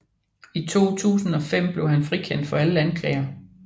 I 2005 blev han frikendt for alle anklager